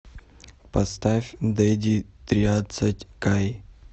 поставь дэдди триадцать кай